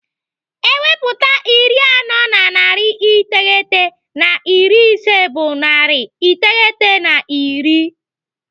Ewepụta iri anọ na narị iteghete na iri ise bụ narị iteghete na iri.